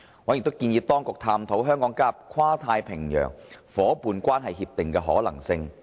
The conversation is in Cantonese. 委員亦建議當局探討香港加入跨太平洋夥伴關係協定的可能性。